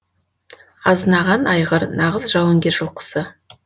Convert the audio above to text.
азынаған айғыр нағыз жауынгер жылқысы